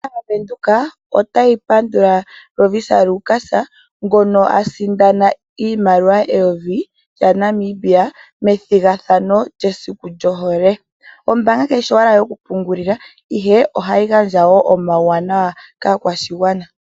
Ombaanga ndjoka yobank Windhoek otayi pandula Lovisa Lukas ngono a sindana iimaliwa eyovi lyaNamibia methigathano lyesiku lyohole. Ombaanga ndjoka ka yishi owala yokupungulila ihe ohayi gandja woo omauwanawa ogendji kaakwashigwana.